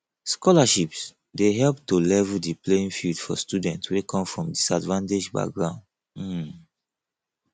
scholarships dey help to level di playing field for students wey come from disadvanged backgrounds um